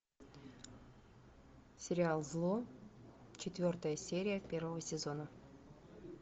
сериал зло четвертая серия первого сезона